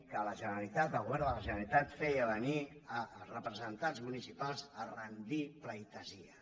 que la generalitat el govern de la generalitat feia venir els representants municipals a rendir pleitesia